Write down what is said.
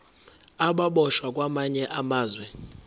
ababoshwe kwamanye amazwe